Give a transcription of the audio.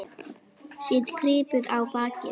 Set kryppu á bakið.